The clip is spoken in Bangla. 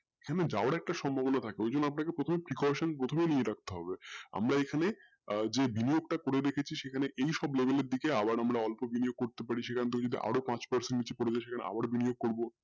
কিন্তু যাওয়ার একটা সম্ভাবনা থাকে ওই জন্য আপনাকে প্রথমে precaution নিয়ে রাখতে হবে আমরা এখানে যে বিনিময় টা করেরেখেছি সেই খানে এই সব সম্ভাবনা এর দিকে আবার আমরা অল্প বিনয় করতে পেরেছিলাম তো যদি আরো পাঁচ percent করে